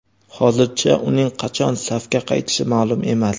Hozircha uning qachon safga qaytishi ma’lum emas.